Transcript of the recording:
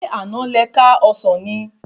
Ṣé àná le ká ọsán ni?